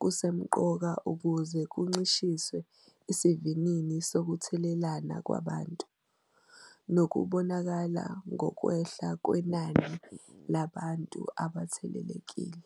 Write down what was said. kusemqoka ukuze kuncishiswe isivinini sokuthelelana kwabantu, nokubonakala ngokwehla kwenani labantu abathelelekile.